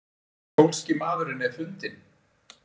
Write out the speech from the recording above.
Pólski maðurinn er fundinn?